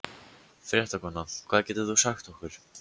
Fréttakona: Hvað getur þú sagt okkur?